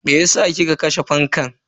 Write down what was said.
Meyasa kika kashe fankan?